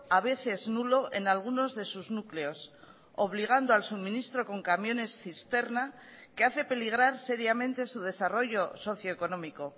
a veces nulo en algunos de sus núcleos obligando al suministro con camiones cisterna que hace peligrar seriamente su desarrollo socioeconómico